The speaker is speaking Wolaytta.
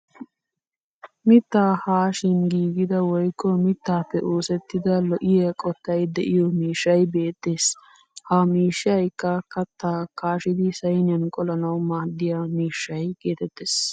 Mittaa haashin giigida woykko mittaappe oosettida lo'iya qottay de'iyo miishshay beettes. Ha miishshayikka kattaa kaashidi sayiniya qolanawu maaddiya mishshay geetettes.